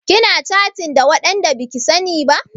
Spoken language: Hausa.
Kina catin da waɗanda baki sani ba?